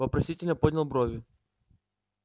вопросительно поднял брови